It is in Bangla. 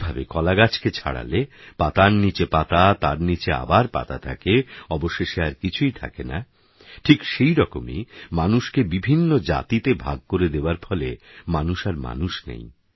যেভাবেকলাগাছকেছাড়ালেপাতারনীচেপাতাতারনীচেআবারপাতাথাকে অবশেষেআরকিছুইথাকেনাঠিকসেইরকমইমানুষকেবিভিন্নজাতিতেভাগকরেদেওয়ারফলেমানুষআরমানুষনেই